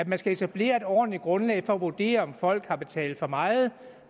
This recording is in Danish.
man skal etablere et ordentligt grundlag for at vurdere om folk har betalt for meget